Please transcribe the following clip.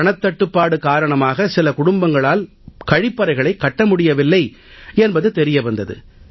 பணத்தட்டுப்பாடு காரணமாக சில குடும்பங்களால் கழிப்பறைகளைக் கட்ட முடியவில்லை என்பது தெரிய வந்தது